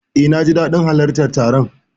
Eh, naji dadin halartar taron.